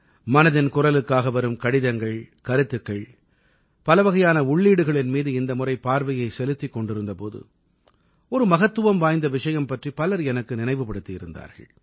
மனதின் குரலுக்காக வரும் கடிதங்கள் கருத்துக்கள் பலவகையான உள்ளீடுகளின் மீது இந்த முறை பார்வையைச் செலுத்திக் கொண்டிருந்த போது ஒரு மகத்துவம் வாய்ந்த விஷயம் பற்றி பலர் எனக்கு நினைவு படுத்தியிருந்தார்கள்